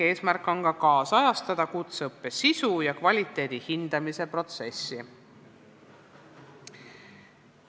Eesmärk on ka nüüdisajastada kutseõppe sisu ja kvaliteedi hindamise protsessi.